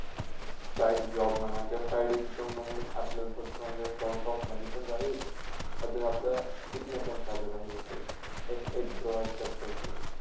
side job म्हणा कि side income म्हणाल अपल्याला थोडासा म्हणजे source of money पण जाहिल अजून अपला शिकणं पण सादर राहीलते राहते एक age provide करतात ते